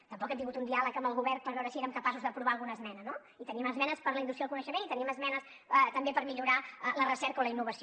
tampoc hem tingut un diàleg amb el govern per veure si érem capaços d’aprovar alguna esmena no i teníem esmenes per a la indústria del coneixement i teníem esmenes també per millorar la recerca o la innovació